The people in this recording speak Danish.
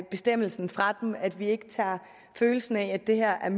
bestemmelsen fra dem at vi ikke tager følelsen af at det her er